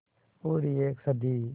पूरी एक सदी